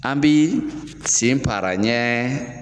An bi sen para ɲɛ